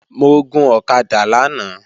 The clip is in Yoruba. Mo gun ọ̀kadà lánàá